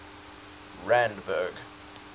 randburg